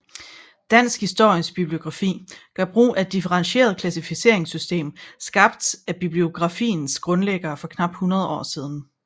Dansk Historisk Bibliografi gør brug af et differentieret klassificeringssystem skabt af bibliografiens grundlæggere for knap 100 år siden